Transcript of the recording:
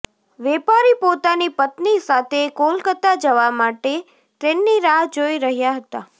વેપારી પોતાની પત્ની સાથે કોલકતા જવા માટે ટ્રેનની રાહ જોઇ રહ્યા હતા